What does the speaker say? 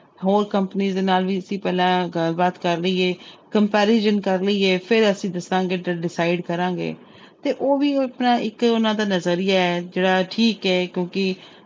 ਹੋਰ company ਦੇ ਨਾਲ ਵੀ ਅਸੀਂ ਪਹਿਲਾਂ ਗੱਲਬਾਤ ਕਰ ਲਈਏ comparison ਕਰ ਲਈਏ ਫਿਰ ਅਸੀਂ ਦੱਸਾਂਗੇ ਤੇ decide ਕਰਾਂਗੇ ਤੇ ਉਹ ਵੀ ਇਸ ਤਰ੍ਹਾਂ ਇੱਕ ਉਹਨਾਂ ਦਾ ਨਜ਼ਰੀਆ ਹੈ ਜਿਹੜਾ ਠੀਕ ਹੈ ਕਿਉਂਕਿ